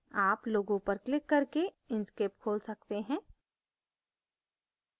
आप logo पर click करके inkscape खोल सकते हैं